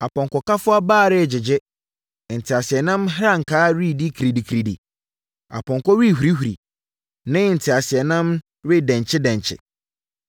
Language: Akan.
Apɔnkɔkafoɔ abaa regyegye, nteaseɛnam nhankra reyɛ kirididi Apɔnkɔ rehurihuri ne nteaseɛnam redenkye denkye.